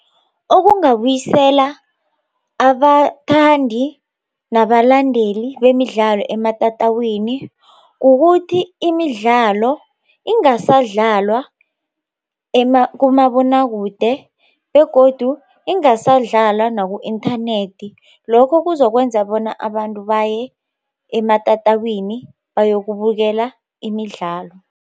Okungabuyisela abathandi nabalandeli bemidlalo ematatawini kukuthi imidlalo ingasadlalwa kumabonwakude begodu ingasadlalwa naku-inthanethi lokho kuzokwenza bona abantu baye ematatawini bayokubukela imidlalo.